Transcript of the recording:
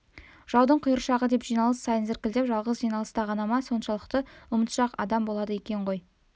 жаудың құйыршығы деп жиналыс сайын зіркілдеп жалғыз жиналыста ғана ма соншалықты ұмытшақ адам болады екен ғой